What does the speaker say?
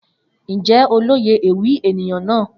Njẹ o loye ewi eniyan naa?